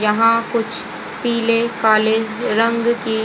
यहां कुछ पीले काले रंग के--